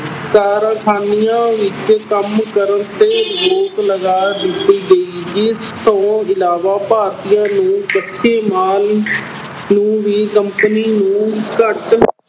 ਕਾਰਖਾਨਿਆਂ ਵਿੱਚ ਕੰਮ ਕਰਨ ਤੇ ਰੋਕ ਲਗਾ ਦਿੱਤੀ ਗਈ ਸੀ। ਇਸ ਤੋਂ ਇਲਾਵਾ ਭਾਰਤੀਆਂ ਨੂੰ ਕੱਚੇ ਮਾਲ ਤੋਂ ਵੀ company ਨੂੰ ਘੱਟ